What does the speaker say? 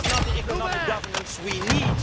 But that is not the economic governance we